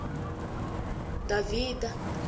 davhida